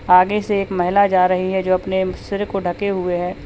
आगे से एक महिला जा रही है जो अपने सिर को ढके हुए है।